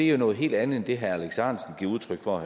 jo noget helt andet end det herre alex ahrendtsen giver udtryk for